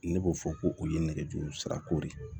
Ne b'o fɔ ko o ye nɛgɛjuru sira ko de ye